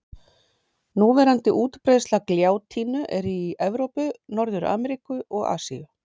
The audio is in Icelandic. Núverandi útbreiðsla gljátínu er í Evrópu, Norður-Ameríku og Asíu.